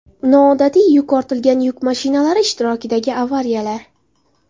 Noodatiy yuk ortilgan yuk mashinalari ishtirokidagi avariyalar .